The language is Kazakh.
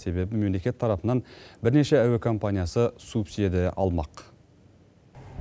себебі мемлекет тарапынан бірнеше әуе компаниясы субсидия алмақ